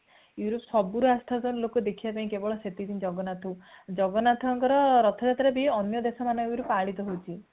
ସବୁ ରୁ ଆସି ଯାଉଛନ୍ତି ଲୋକ ଦେଖିବା ପାଇଁ କେବଳ ସେଟିକି ଦିନ ଜହନ୍ନଥଙ୍କୁ ଜଗନ୍ନାଥଙ୍କର ରଥଯାତ୍ରା ବି ଅନ୍ୟ ଦେଶମଙ୍କରେ ପାଳିତ ହୋଉଛି